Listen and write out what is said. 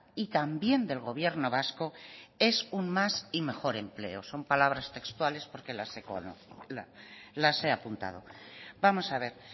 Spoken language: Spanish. y también del gobierno vasco es un más y mejor empleo son palabras textuales porque las he apuntado vamos a ver